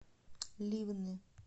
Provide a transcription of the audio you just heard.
ливны